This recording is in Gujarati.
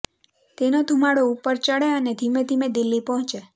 તેનો ધૂમાડો ઉપર ચડે અને ધીમે ધીમે દિલ્હી પહોંચે